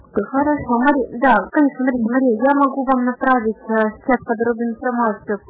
как называется подробный прогноз